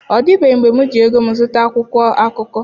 Ọ dịbeghị mgbe m ji ego m zụta akwụkwọ akụkọ.